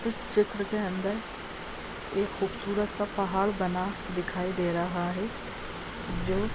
इस चित्र के अंदर एक खूबसूरत सा पहाड़ बना दिखाई दे रहा है जो --